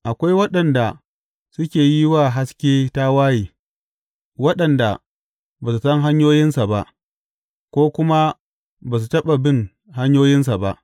Akwai waɗanda suke yi wa haske tawaye, waɗanda ba su san hanyoyinsa ba ko kuma ba su taɓa bin hanyoyinsa ba.